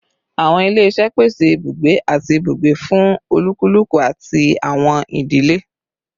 Awọn ile pese ibugbe ati ibugbe fun olukuluku ati awọn idile